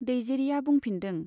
दैजिरिया बुंफिनदों।